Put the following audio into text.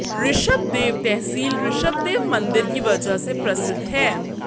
ऋषभदेव तहसील ऋषभदेव मंदिर की वजह से प्रसिद्ध है